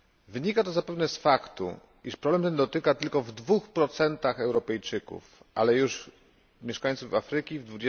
Wynika to zapewne z faktu, iż problem ten dotyka tylko w 2 Europejczyków, ale już mieszkańców Afryki w